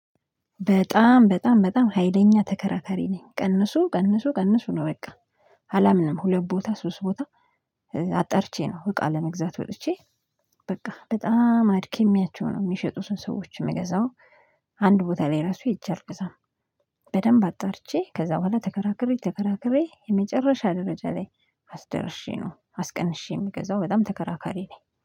በጣም በጣም በጣም ሀይለኛ ተከራከሪ ነኝ ቀንሱ ቀንሱ ቀንሱ ነው በቃ። አላምንም ሁለት ቦታ ሶስት ቦታ። አጣርቼ ነው እቃ ለመግዛት ወጥቼ። በቃ በጣም አድክሜያቸው ነው የሚሸጡትን ሰዎች የምገዛው። አንድ ቦታ ላይ ራሱ ሄጄ አልገዛም። በደንብ አጣርቼ ከዛ በኋላ ተከራክሬ ተከራክሬ የመጨረሻ ደረጃ ላይ አስደርሼ ነው አስቀንሼ የምገዛው በጣም ተከራካሪ ነኝ